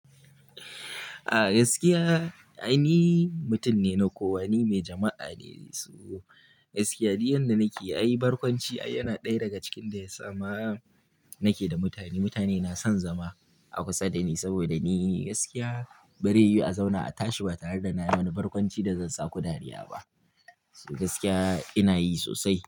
A gaskiya ai ni mutum ne na kowa, ni mai jama'a ne. So gaskiya du yanda nake, ai barkwanci yana ɗaya daga cikin da yasa ma nake da mutane. Mutane na son zama a kusa da ni saboda ni gaskiya bare yiwu a zauna a tashi ba tare da na yi wani barkwanci da zan saku dariya ba. So gaskiya ina yi sosai.